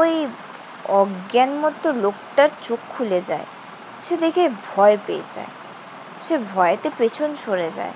ওই অজ্ঞান মতো লোকটার চোখ খুলে যায়। সে দেখে ভয় পেয়ে যায়। সে ভয়তে পেছন সরে যায়।